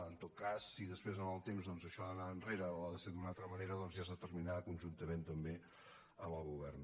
en tot cas si després amb el temps doncs això ha d’anar enrere o ha de ser d’una altra manera ja es determinarà conjuntament també amb el govern